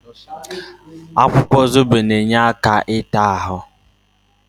Akwụkwọ Zobo na-enye aka n'ita ahụ.